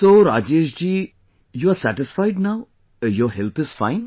So Rajesh ji, you are satisfied now, your health is fine